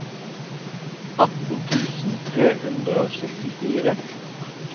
atten tusen tre hundre og syttifire